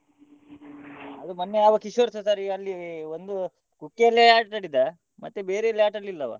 ಅದು ಮೊನ್ನೆ ಅವ ಕಿಶೋರ್ಸ ಸರಿ ಅಲ್ಲಿ ಒಂದು ಕುಟ್ಟಿಯಲ್ಲೇ ಆಟಾಡಿದ ಮತ್ತೆ ಬೇರೆ ಎಲ್ಲಿಯೂ ಆಟಾಡ್ಲಿಲ್ಲ ಅವ.